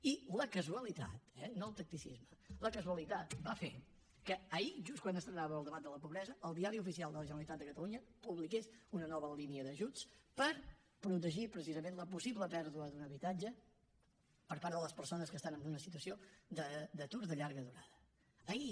i la casualitat eh no el tacticisme la casualitat va fer que ahir just quan estrenàvem el debat de la pobresa el diari oficial de la generalitat de catalunya publiqués una nova línia d’ajuts per protegir precisament la possible pèrdua d’un habitatge per part de les persones que estan en una situació d’atur de llarga durada ahir